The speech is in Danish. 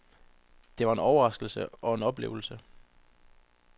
Det var en overraskelse og en oplevelse.